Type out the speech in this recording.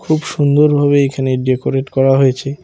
খুব সুন্দর ভাবে এইখানে ডেকোরেট করা হয়েছে।